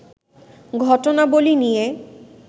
ঘটনাবলী নিয়ে